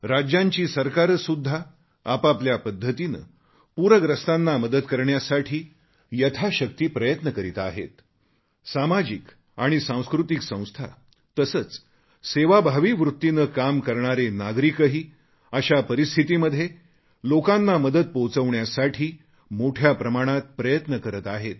राज्यांची सरकारेसुद्धा आपापल्या पद्धतीने पूरग्रस्तांना मदत करण्यासाठी यथाशक्ती प्रयत्न करीत आहेत